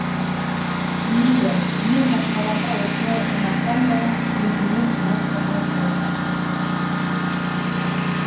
мейлі мен басқаларға осылай ұнасам да өзіме ұнап тұрған жоқпын